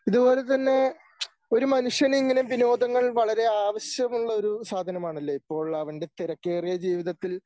ഇതുപോലെ തന്നെ ഒരു മനുഷ്യന് ഇങ്ങനെ വിനോദങ്ങൾ വളരെ ആവശ്യമുള്ള ഒരു സാധനം ആണല്ലോ ഇപ്പോൾ അവൻ്റെ തിരക്കേറിയ ജീവിതത്തിൽ